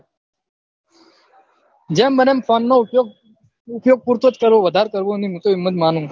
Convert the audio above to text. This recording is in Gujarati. જેમ બને એમ ફોન નો ઉપયોગ પુરતો જ કરવો વધાર કરવો વધાર કરવો નહી હું તો એમ જ માનું